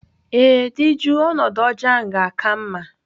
Ee, dị jụụ ọnọdụ ọjọọ ga-aka mma.